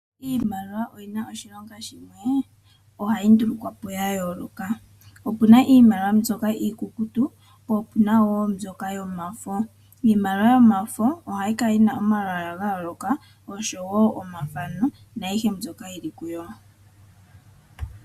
Iimaliwa oyina oshilonga shimwe, ohayi ndulukwa po ya yooloka. Opuna iimaliwa mbyoka iikukutu, po opuna wo mbyoka yomafo. Iimaliwa yomafo ohayi kala yina omalwaala ga yooloka oshowo omathano naayihe mbyoka yili kuyo.